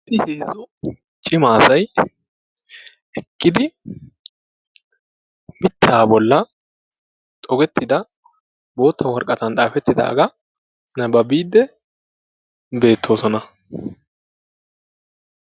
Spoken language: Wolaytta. Heezzu cima asay eqqidi mittaa bollan xogettida bootta woraqataan xaafettidagaa nababiidde beettoosona.